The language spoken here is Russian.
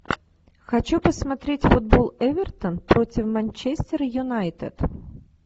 хочу посмотреть футбол эвертон против манчестера юнайтед